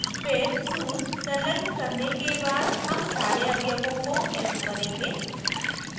फिर suse संलग्न करने के बाद हम सारे अवयवों को echo करेंगे